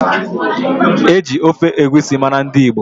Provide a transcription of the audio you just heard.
E ji ofe egusi mara ndị Igbo.